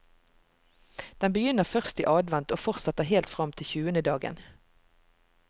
Den begynner først i advent og fortsetter helt fram til tjuendedagen.